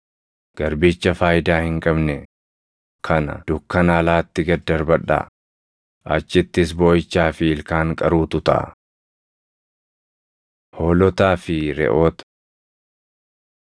Garbicha faayidaa hin qabne kana dukkana alaatti gad darbadhaa; achittis booʼichaa fi ilkaan qaruutu taʼa.’ Hoolotaa fi Reʼoota